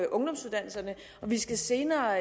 ungdomsuddannelserne vi skal senere